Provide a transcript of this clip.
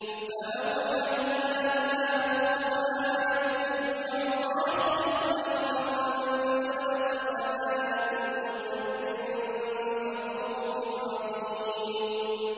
فَأَوْحَيْنَا إِلَىٰ مُوسَىٰ أَنِ اضْرِب بِّعَصَاكَ الْبَحْرَ ۖ فَانفَلَقَ فَكَانَ كُلُّ فِرْقٍ كَالطَّوْدِ الْعَظِيمِ